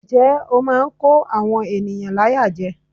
Njẹ́ ó máa ń kó àwọn ènìyàn láyà jẹ.